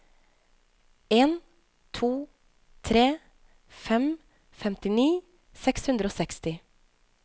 en to tre fem femtini seks hundre og seksti